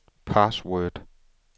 password